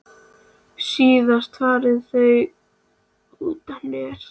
Síðast fara þau út á Nes.